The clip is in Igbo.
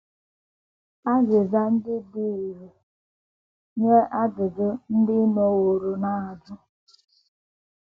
Azịza Ndị Ndị Dị Irè Nye Ajụjụ Ndị Ị Nọworo Na - ajụ!